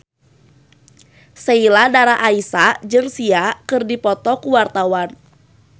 Sheila Dara Aisha jeung Sia keur dipoto ku wartawan